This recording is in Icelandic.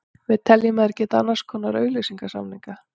Við teljum að þeir geti gert annars konar auglýsingasamninga.